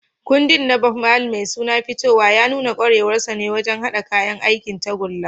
Kundin na Bob Marley mai suna "Fitowa" ya nuna kwarewarsa wajen haɗa kayan aikin tagulla.